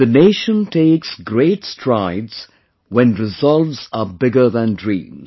The nation takes great strides when resolves are bigger than dreams